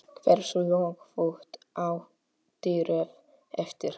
Hversu löng pútt áttirðu eftir?